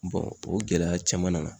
Bɔn o gɛlɛya caman nana